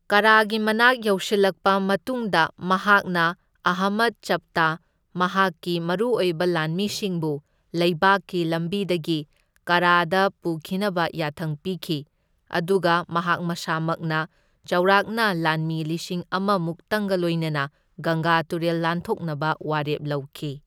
ꯀꯥꯔꯥꯒꯤ ꯃꯅꯥꯛ ꯌꯧꯁꯤꯜꯂꯛꯄ ꯃꯇꯨꯡꯗ ꯃꯍꯥꯛꯅ ꯑꯍꯃꯗ ꯆꯞꯇꯥ ꯃꯍꯥꯛꯀꯤ ꯃꯔꯨꯑꯣꯏꯕ ꯂꯥꯟꯃꯤꯁꯤꯡꯕꯨ ꯂꯩꯕꯥꯛꯒꯤ ꯂꯝꯕꯤꯗꯒꯤ ꯀꯥꯔꯥꯗ ꯄꯨꯈꯤꯅꯕ ꯌꯥꯊꯪ ꯄꯤꯈꯤ, ꯑꯗꯨꯒ ꯃꯍꯥꯛ ꯃꯁꯥꯃꯛꯅ ꯆꯥꯎꯔꯥꯛꯅ ꯂꯥꯟꯃꯤ ꯂꯤꯁꯤꯡ ꯑꯃ ꯃꯨꯛꯇꯪꯒ ꯂꯣꯏꯅꯅ ꯒꯪꯒꯥ ꯇꯨꯔꯦꯜ ꯂꯥꯟꯊꯣꯛꯅꯕ ꯋꯥꯔꯦꯞ ꯂꯧꯈꯤ꯫